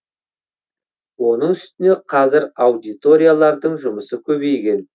оның үстіне қазір аудиториялардың жұмысы көбейген